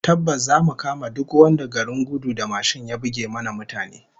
Tabbas zamu kama duk wanda garin gudu da mashin ya buge mana mutane